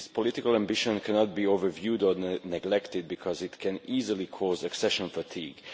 This political ambition cannot be overlooked or neglected because it could easily cause accession fatigue.